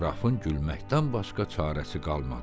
Qrafın gülməkdən başqa çarəsi qalmadı.